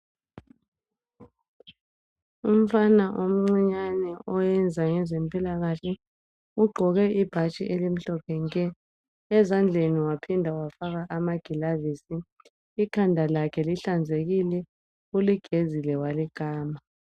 umfana omncinyane owenza ngezempilakahle ugqoko ibhatshi elimhlophe nke ezandleni waphinda wafaka amagilavisi ikhanda lakhe kuhlanzekile uligezile walikama.